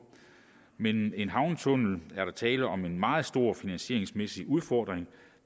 men en havnetunnel er der tale om en meget store finansieringsmæssig udfordring